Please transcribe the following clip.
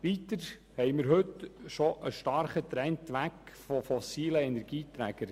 Weiter haben wir bereits einen starken Trend weg von fossilen Energieträgern.